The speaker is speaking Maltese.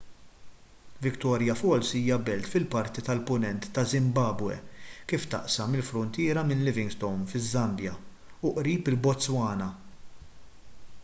victoria falls hija belt fil-parti tal-punent taż-żimbabwe kif taqsam il-fruntiera minn livingstone fiż-żambja u qrib il-botswana